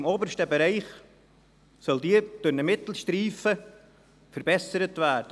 Im obersten Bereich soll diese durch einen Mittelstreifen verbessert werden.